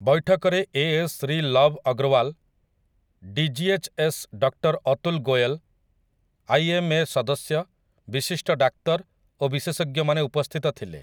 ବୈଠକରେ AS Shri Lav Agarwal, DGHS doctor Atul Goyal, IMA ସଦସ୍ୟ, ବିଶିଷ୍ଟ ଡାକ୍ତର ଓ ବିଶେଷଜ୍ଞମାନେ ଉପସ୍ଥିତ ଥିଲେ ।